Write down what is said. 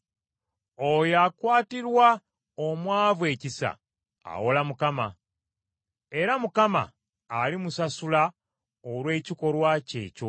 Oyo akwatirwa omwavu ekisa awola Mukama , era Mukama alimusasula olw’ekikolwa kye ekyo.